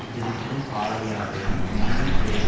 திடுக்கிடும் பாலையாவையும் மீண்டும் திரையில்